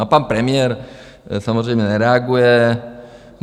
A pan premiér samozřejmě nereaguje.